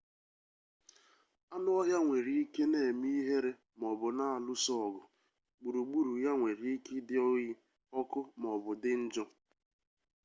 anụ ọhịa nwere ike na-eme ihere maọbụ na-alụso ọgụ gburugburu ya nwere ike dị oyi ọkụ maọbụ dị njọ